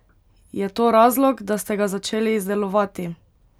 Je to razlog, da ste ga začeli izdelovati?